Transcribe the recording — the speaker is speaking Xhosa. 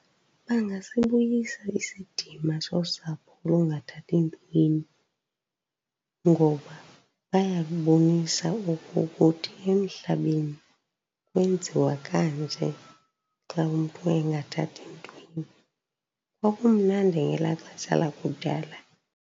Bangasibuyisa isidima sosapho olungathathi ntweni ngoba bayabonisa ukokuthi emhlabeni kwenziwa kanje xa umntu engathathi ntweni. Kwakumnandi ngelaa xesha lakudala.